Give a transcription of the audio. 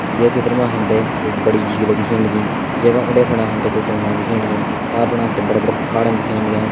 ये चित्र मा हम ते एक बड़ी झील दिखेण लगीं जैका उंडे फणा हम ते कुछ डुंगा दिखेण लग्यां पार फणा हम ते बड़ा बड़ा पहाड़न दिखेण लग्यां।